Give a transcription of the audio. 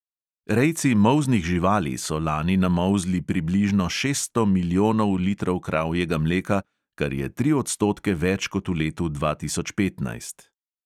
Rejci molznih živali so lani namolzli približno šeststo milijonov litrov kravjega mleka, kar je tri odstotke več kot v letu dva tisoč petnajst.